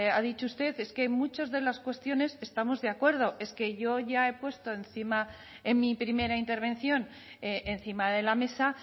ha dicho usted es que en muchas de las cuestiones estamos de acuerdo es que yo ya he puesto encima en mi primera intervención encima de la mesa